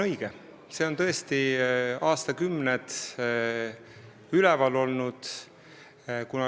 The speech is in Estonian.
See teema on tõesti aastakümneid üleval olnud.